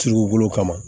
Turu bolo kama